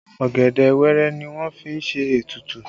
Ọ̀gẹ̀dẹ̀ wẹẹrẹ ni wọ́n fi ṣe ètùtù